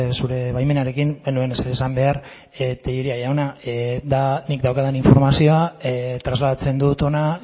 zure baimenarekin ez nuen ezer esan behar tellería jauna da nik daukadan informazioa trasladatzen dut hona